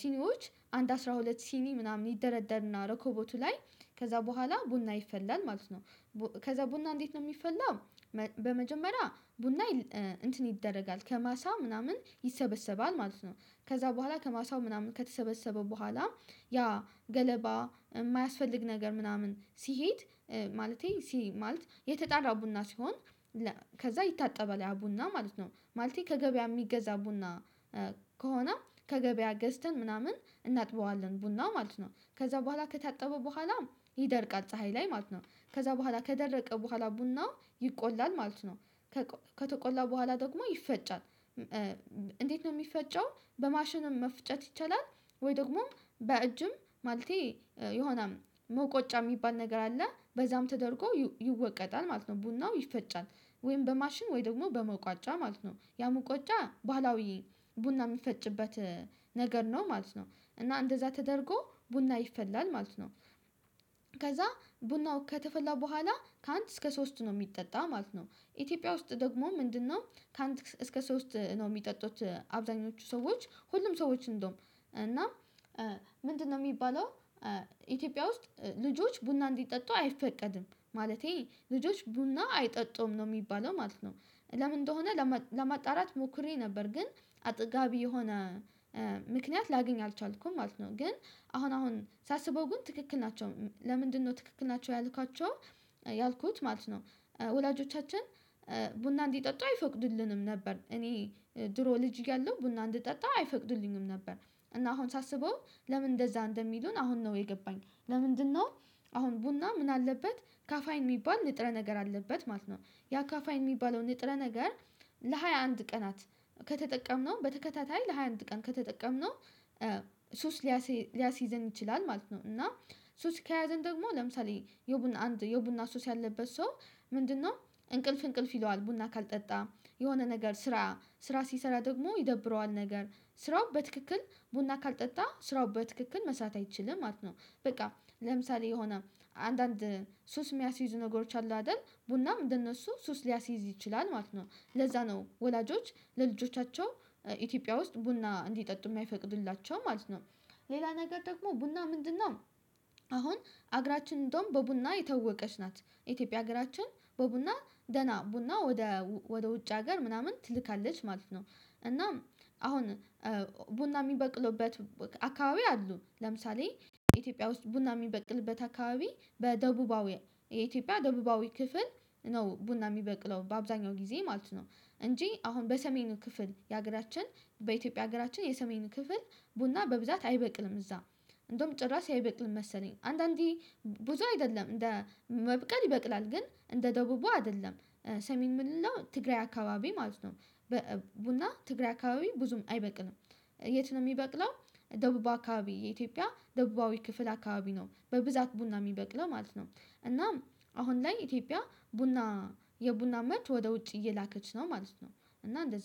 ሲኒዎች አንድ አስራ ሁለት ሲኒ ምናምን ይደረደርና ረኮቦቱ ላይ ከዛ በኋላ ቡና ይፈላል ማለት ነው። ከዛ ቡና እንዴት ነው የሚፈላ? በመጀመሪያ ቡና እንትን ይደረጋል ከማሳ ምናምን ይሰበሰባል ማለት ነው። ከዛ በኋላ ከማሳው ምናምን ከተሰበሰበ በኋላ ያ ገለባ የማያስፈልግ ነገር ምናምን ሲሄድ ማለቴ ሲ ማለት የተጣራ ቡና ሲሆን። ከዛ ይታጠባል ያ ቡና ማለት ነው ማለቴ ከገበያ የሚገዛ ቡና። ከሆነ ከገበያ ገዝተን ምናምን እናጥበዋለን ቡናው ማለት ነው ከዛ በኋላ ከታጠበ በኋላ ይደርቃል ፀሀይ ላይ ማለት ነው። ከዛ በኋላ ከደረቀ በኋላ ቡና ይቆላል ማለት ነው። ከተቆላ በኋላ ደግሞ ይፈጫል። እንዴት ነው የሚፈጨው? በማሽንም መፍጨት ይቻላል። ወይ ደግሞም በእጅም ማለቴ የሆነ መቆጫ የሚባል ነገር አለ በዛም ተደርጎ ይወቀጣል ማለት ነው ቡናው ይፈጫል። ወይም በማሽን ወይም ደግሞ በመቋጫ ማለት ነው ያ መቆጫ ባህላዊ ቡና የሚፈጭበት ነገር ነው ማለት ነው። እና እንደዛ ተደርጎ ቡና ይፈላል ማለት ነው። ከዛ ቡናው ከተፈላ በኋላ ከአንድ እስከ ሶስት ነው የሚጠጣ ማለት ነው። ኢትዮጵያ ውስጥ ደግሞ ምንድነው ከአንድ እስከ ሶስት ነው የሚጠጡት አብዛኞቹ ሰዎች ሁሉም ሰዎች እንደውም እና ምንድነው የሚባለው ኢትዮጵያ ውስጥ ልጆች ቡና እንዲጠጡ አይፈቀድም ማለቴ ልጆች ቡና አይጠጡም ነው የሚባለው ማለት ነው። ለምን እንደሆነ ለማጣራት ሞክሬ ነበር ግን አጥጋቢ የሆነ ምክንያት ላገኝ አልቻልኩም ማለት ነው። ግን አሁን አሁን ሳስበው ግን ትክክል ናቸው ለምንድነው ትክክል ናቸው ያልኳቸው? ያልኩት ማለት ነው። ወላጆቻችን ቡና እንዲጠጡ አይፈቅዱልንም ነበር እኔ ድሮ ልጅ ያለው ቡና እንድጠጣ አይፈቅዱልኝም ነበር። እና አሁን ሳስበው ለምን እንደዛ እንደሚሉን አሁን ነው የገባኝ ለምንድነው? አሁን ቡና ምን አለበት ካፋይን የሚባል ንጥረ ነገር አለበት ማለት ነው። ያ ካፋይን የሚባለው ንጥረ ነገር። ለሃያ አንድ ቀናት ከተጠቀምነው በተከታታይ ለሃያ አንድ ቀን ከተጠቀምነው ሱስ ሊያሲዝ ሊያስይዘን ይችላል። ማለት ነው። እና ሱስ ከያዘን ደግሞ ለምሳሌ የቡና አንድ የቡና ሱስ ያለበት ሰው። ምንድነው? እንቅልፍ እንቅልፍ ይለዋል ቡና ካልጠጣ የሆነ ነገር ስራ ስራ ሲሰራ ደግሞ ይደብረዋል ነገር ስራው በትክክል ቡና ካልጠጣ ስራው በትክክል መስራት አይችልም ማለት ነው። በቃ ለምሳሌ የሆነ አንዳንድ ሱስ የሚያስይዙ ነገሮች አሉ አይደል? ቡናም እንደነሱ ሱስ ሊያስይዝ ይችላል ማለት ነው። ለዛ ነው ወላጆች ለልጆቻቸው ኢትዮጵያ ውስጥ ቡና እንዲጠጡ የማይፈቅዱላቸው ማለት ነው። ሌላ ነገር ደግሞ ቡና ምንድነው? አሁን ሀገራችን እንደውም በቡና የታወቀች ናት ኢትዮጵያ ሀገራችን በቡና ደህና ቡና ወደ ወደ ውጭ ሀገር ምናምን ትልካለች ማለት ነው። እናም አሁን ቡና የሚበቅሉበት አካባቢ አሉ ለምሳሌ ኢትዮጵያ ውስጥ ቡና የሚበቅልበት አካባቢ በደቡባዊ የኢትዮጵያ ደቡባዊ ክፍል ነው ቡና የሚበቅለው በአብዛኛው ጊዜ ማለት ነው። እንጂ አሁን በሰሜኑ ክፍል የሀገራችን በኢትዮጵያ ሀገራችን የሰሜኑ ክፍል ቡና በብዛት አይበቅልም እዛ። እንደውም ጭራሽ አይበቅልም መሰለኝ አንዳንዴ ብዙ አይደለም እንደ መብቀል ይበቅላል ግን እንደ ደቡቡ አይደለም ሰሜን ምን ምንለው ትግራይ አካባቢ ማለት ነው። ቡና ትግራይ አካባቢ ብዙም አይበቅልም። የት ነው የሚበቅለው? ደቡብ አካባቢ የኢትዮጵያ ደቡባዊ ክፍል አካባቢ ነው በብዛት ቡና የሚበቅለው ማለት ነው። እናም አሁን ላይ ኢትዮጵያ ቡና የቡና ምርት ወደ ውጭ እየላከች ነው ማለት ነው። እና እንደዚህ